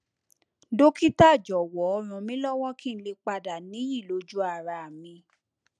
dókítà jọwọ ràn mí lọwọ kí n lè padà níyì lójú ara mi